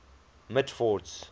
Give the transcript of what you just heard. mitford's